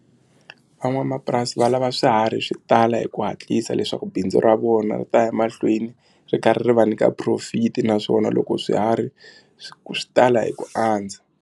Van'wamapurasi va lava swiharhi swi tala hi ku hatlisa leswaku bindzu ra vona ri ta ya mahlweni ri karhi va nyika profit naswona loko swiharhi swi swi tala hi ku andza.